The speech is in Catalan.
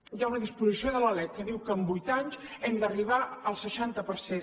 hi ha una disposició de la lec que diu que en vuit anys hem d’arribar al seixanta per cent